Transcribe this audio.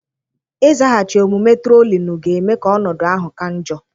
Ịzaghachi omume trolinuu ga-eme ka ọnọdụ ahụ ka njọ.